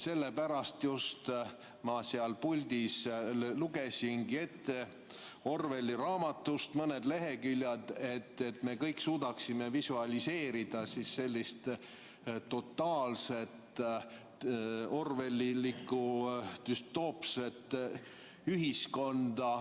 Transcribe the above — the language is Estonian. Sellepärast ma seal puldis lugesingi ette Orwelli raamatust mõned leheküljed, et me kõik suudaksime visualiseerida sellist totaalset orwellilikku düstoopset ühiskonda ...